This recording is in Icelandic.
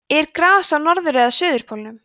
er gras á norður eða suðurpólnum